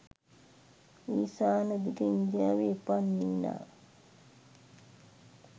ඊසාන දිග ඉන්දියාවේ උපන් නිනා